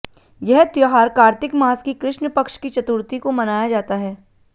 यह त्यौहार कार्तिक मास की कृष्ण पक्ष की चतुर्थी को मनाया जाता है